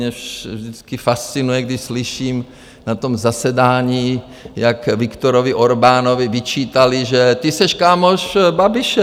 Mě vždycky fascinuje, když slyším na tom zasedání, jak Viktorovi Orbánovi vyčítali, že: Ty seš kámoš Babiše!